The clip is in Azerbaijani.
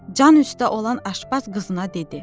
Can üstə olan aşpaz qızına dedi: